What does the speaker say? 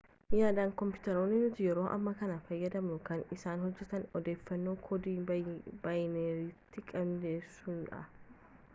yaadaan koompitaroonni nuti yeroo ammaa kana fayyadamnu kan isaan hojjetan odeeffannoo koodii baayinariitiin qindeessuunidha